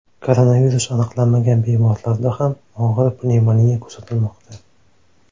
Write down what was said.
Koronavirus aniqlanmagan bemorlarda ham og‘ir pnevmoniya kuzatilmoqda.